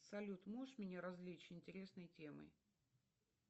салют можешь меня развлечь интересной темой